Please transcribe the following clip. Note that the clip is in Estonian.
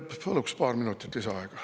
Paluks paar minutit lisaaega.